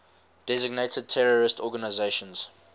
designated terrorist organizations